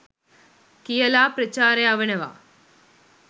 කියලා ප්‍රචාර යවනවා.